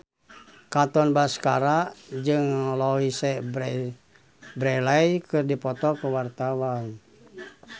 Katon Bagaskara jeung Louise Brealey keur dipoto ku wartawan